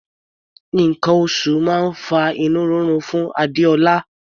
Nǹkan oṣù máa ń fa inú rírun fún Adéọlá.